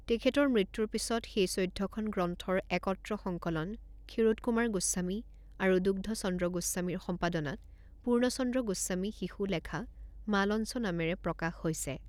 তেখেতৰ মৃত্যুৰ পিছত সেই চৈধ্যখন গ্ৰন্থৰ একত্ৰ সংকলন ক্ষীৰোদ কুমাৰ গোস্বামী আৰু দুগ্ধচন্দ্ৰ গোস্বামীৰ সম্পাদনাত পূৰ্ণচন্দ্ৰ গোস্বামী শিশু লেখা মালঞ্চ নামেৰে প্ৰকাশ হৈছে।